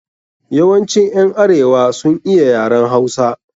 Yawancin ƴan arewa sun iya yaren Hausa.